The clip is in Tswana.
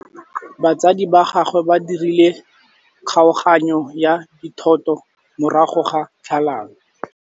Batsadi ba gagwe ba dirile kgaoganyô ya dithoto morago ga tlhalanô.